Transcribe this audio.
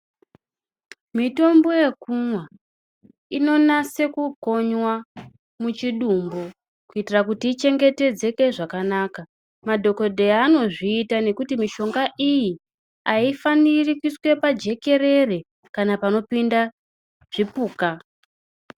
Mitombo yekumwa inonyase kukonywa muchidumbu kuitira kuti ichengetedzeke zvakanaka. Madhogodheya anozviita nekuti mishonga iyi haifanii kuiswa pajekerere kana panopinda zvipuka.